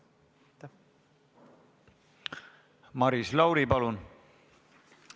Maris Lauri, palun!